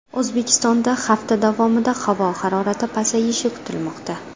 O‘zbekistonda hafta davomida havo harorati pasayishi kutilmoqda.